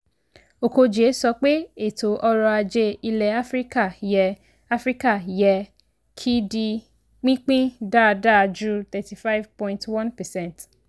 okojie sọ pé ètò ọ̀rọ̀ ajé ilẹ̀ áfíríkà yẹ áfíríkà yẹ kí di pínpín dáadáa ju thirty five point one percent